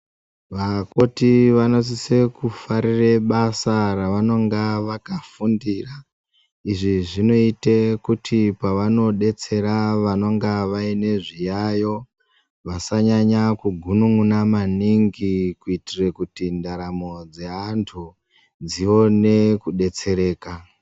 Vakoti vanosise kufarire basa ravanonga vakafundira, izvi zvinoyita kuti pavanodetsera vanonga vayine zviyayo, vasanyanya kugunun'una maningi kuyitire kuti ndaramo dzeantu dzione kudetsereka.